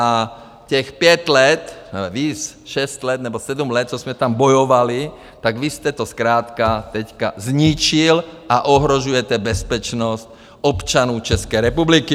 A těch pět let - víc, šest let nebo sedm let, co jsme tam bojovali, tak vy jste to zkrátka teď zničil a ohrožujete bezpečnost občanů České republiky!